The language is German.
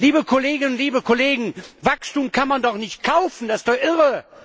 Liebe Kolleginnen und Kollegen, Wachstum kann man doch nicht kaufen, das ist doch irre!